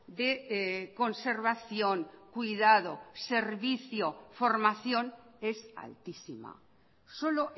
de conservación cuidado servicio formación es altísima solo